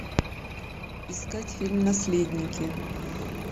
искать фильм наследники